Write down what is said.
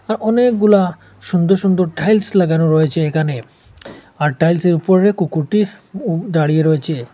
আর অনেকগুলা সুন্দর সুন্দর টাইলস লাগানো রয়েছে এখানে আর টাইলসের উপরে কুকুরটি উ দাঁড়িয়ে রয়েছে।